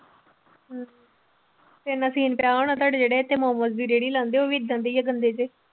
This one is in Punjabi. ਤੇਰੇ ਨਾਲ scene ਆ ਹੋਣਾ ਤੁਹਾਡੇ ਜਿਹੜੇ ਇੱਥੇ ਮੋਮੋਸ ਦੀ ਰੇੜੀ ਲਾਂਦੇ ਆ ਉਹ ਵੀ ਏਦਾਂ ਦੇ ਹੀ ਆ ਗੰਦੇ ਜਿਹੇ।